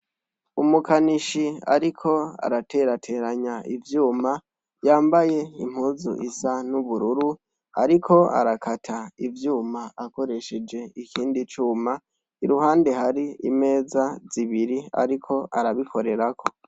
Umukanishi ariko araterateranya ivyuma, yambaye impuzu isa n' ubururu, ariko arakata ivyuma akoresheje ikindi cuma, iruhande hari imeza zibiri ariko arabikorerako.